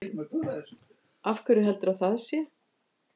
Af hverju heldurðu að það sé?